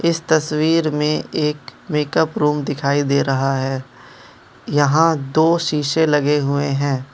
इस तस्वीर में एक मेकअप रूम दिखाई दे रहा है यहां दो शीशे लगे हुए हैं।